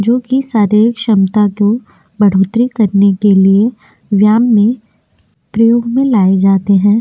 जो की शारीरिक क्षमता को बढ़ोतरी करने के लिए व्यायाम में प्रयोग में लाये जाते हैं।